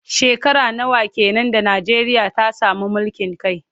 Shekara nawa ke nan da Najeriya ta sami mulkin kai?